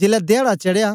जेलै धयाडा चढ़या